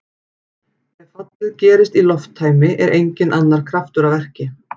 Ef fallið gerist í lofttæmi er enginn annar kraftur að verki.